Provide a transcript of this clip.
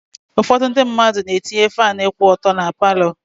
Ụfọdụ ndị mmadụ na-etinye faanụ kwụ ọtọ na paalọ.